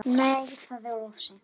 Nei, það er of seint.